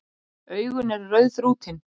Augun eru rauðþrútin.